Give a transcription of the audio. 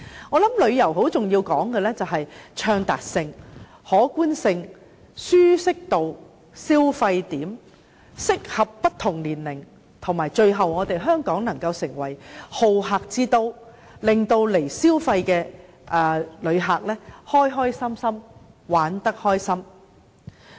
我認為在旅遊方面，很重要的是暢達性、可觀性、舒適度，以及消費點能夠適合不同年齡人士，令香港成為好客之都，使來港消費的旅客玩得開心。